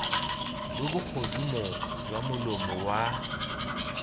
lo bogodimo jwa molomo wa